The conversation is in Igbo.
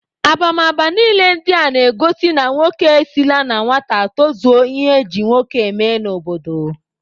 Abamaba niile ndị a na-ego na nwoke esila na nwata tozuo ihe e ji nwoke eme n'obodo.